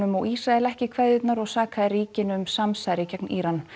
og Ísrael ekki kveðjurnar og sakaði ríkin um samsæri gegn Íran